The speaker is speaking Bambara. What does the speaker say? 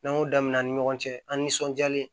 N'an y'o damin'an ni ɲɔgɔn cɛ an' nisɔndiyalen